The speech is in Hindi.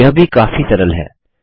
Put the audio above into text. यह भी काफी सरल है